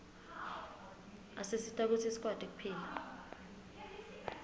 asisita kutsi sikwati kuphila